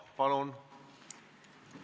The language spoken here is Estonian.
Palun!